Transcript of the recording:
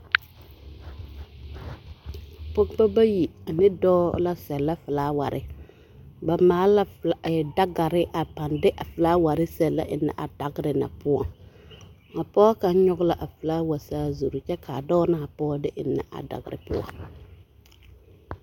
Pɔgebɔ bayi ane dɔɔ la sɛlɛ felaaware ba maale la dagere a de a felaaware sɛlɛ ennɛ a dagere na poɔŋ, a pɔge kaŋ nyɔge la a felaawa saazuri kyɛ ka a pɔge ne a dɔɔ de ennɛ a dagere poɔŋ.